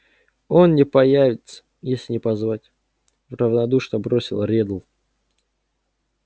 он не появится если не позвать равнодушно бросил реддл